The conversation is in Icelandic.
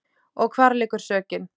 Og hvar liggur sökin?